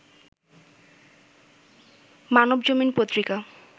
Manabzamin Patrika